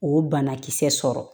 O banakisɛ sɔrɔ